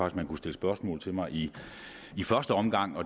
at man kunne stille spørgsmål til mig i i første omgang